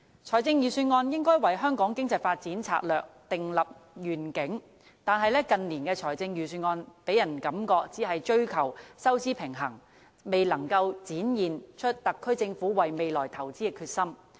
財政預算案應該為香港經濟發展策略訂立願景，但近年的財政預算案予人感覺只是追求收支平衡，未能展現特區政府為未來投資的決心。